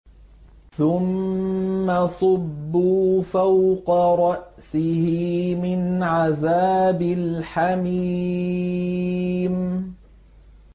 ثُمَّ صُبُّوا فَوْقَ رَأْسِهِ مِنْ عَذَابِ الْحَمِيمِ